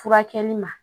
Furakɛli ma